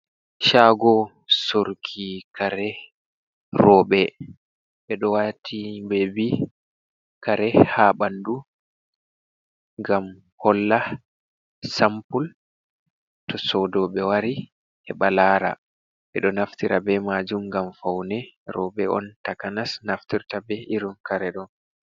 Shaago sooruki kare rooɓe, ɓe ɗo waati bewbi, kare haa ɓanndu ngam holla sampul to soodooɓe wari heɓa laara ɓe ɗo naftira bee maajum ngam fawne rooɓe on takanas naftirta bee irin kare ɗo.